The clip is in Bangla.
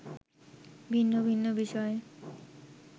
ভিন্ন ভিন্ন বিষয়